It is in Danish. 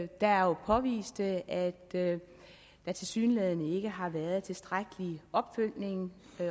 der jo påviste at at der tilsyneladende ikke har været tilstrækkelig opfølgning